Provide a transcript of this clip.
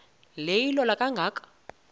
le ilola kangaka